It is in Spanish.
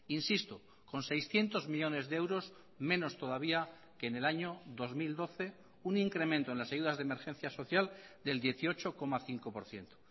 insisto con seiscientos millónes de euros menos todavía que en el año dos mil doce un incremento en las ayudas de emergencia social del dieciocho coma cinco por ciento